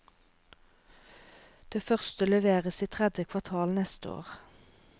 Det første leveres i tredje kvartal neste år.